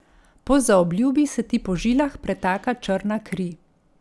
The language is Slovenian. Po zaobljubi se ti po žilah pretaka črna kri.